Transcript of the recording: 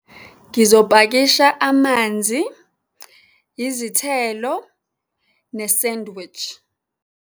Ngizopakisha amanzi, izithelo ne-sandwich.